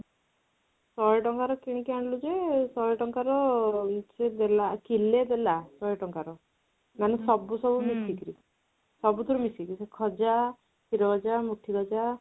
ଶହେ ଟଙ୍କା ର କିଣିକି ଆଣିଲୁ ଯେ ଶହେ ଟଙ୍କା ର କିଲେ ଦେଲା ଶହେ ଟଙ୍କା ର ମାନେ ସବୁ ସବୁ ମିଶି କିରି ସବୁଥିରୁ ମିଶି କିରି ଖଜା, କ୍ଷୀର ଗଜା, ମୁଠି ଗଜା